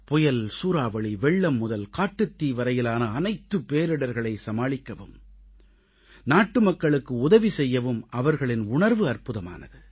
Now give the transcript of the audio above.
புயல் சூறாவளி வெள்ளம் முதல் காட்டுத்தீ வரையிலான அனைத்து பேரிடர்களை சமாளிக்கவும் நாட்டுமக்களுக்கு உதவி செய்யவும் அவர்களின் உணர்வு அற்புதமானது